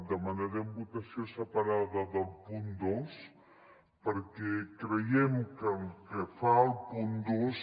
demanarem votació separa·da del punt dos perquè creiem que el que fa el punt dos